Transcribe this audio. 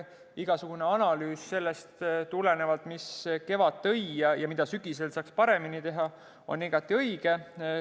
Igasugune analüüs sellest, mis kevad tõi ja mida sügisel saaks paremini teha, on igati õige.